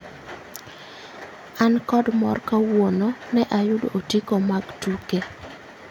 An kod mor kawuono, ne ayudo otiko mag tuke